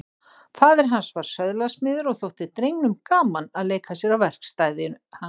Faðir hans var söðlasmiður og þótti drengnum gaman að leika sér á verkstæði hans.